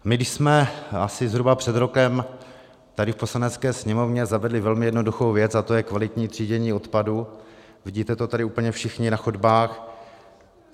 My jsme asi zhruba před rokem tady v Poslanecké sněmovně zavedli velmi jednoduchou věc a to je kvalitní třídění odpadu, vidíte to tady úplně všichni na chodbách.